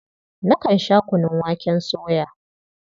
Nakan sha kunun waken soya.